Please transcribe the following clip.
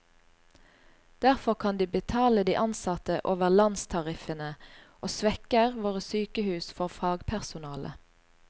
Derfor kan de betale de ansatte over landstariffene, og svekker våre sykehus for fagpersonale.